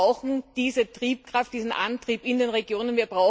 Wir brauchen diese Triebkraft, diesen Antrieb in den Regionen.